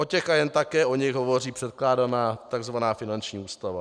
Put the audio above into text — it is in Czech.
O těch a jen také o nich hovoří předkládaná tzv. finanční ústava.